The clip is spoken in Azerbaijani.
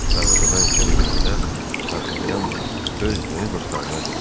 Darvazadan içəri girəndə Dartanyan öz yeni dostlarına dedi.